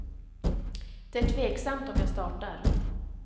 Det är tveksamt om jag startar.